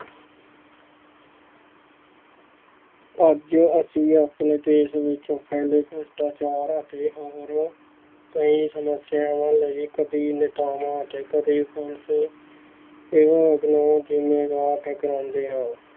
ਅੱਜ ਅਸੀਂ ਆਪਣੇ ਦੇਸ ਵਿੱਚ ਫੈਲੇ ਭ੍ਰਿਸ਼ਟਾਚਾਰ ਅਤੇ ਹੋਰ ਕਈ ਸਮੱਸਿਆਵਾਂ ਲਈ ਕਦੇ ਨੇਤਾਵਾਂ ਅਤੇ ਕਦੇ ਪੁਲਿਸ